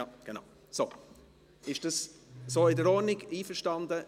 Ist das so in Ordnung, sind Sie damit einverstanden?